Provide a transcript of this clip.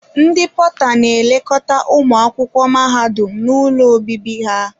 Ndị pọta n'elekọta ụmụ akwụkwọ mahadum n'ụlọ obibi ha.